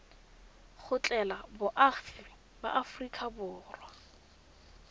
tlogela boagi ba aforika borwa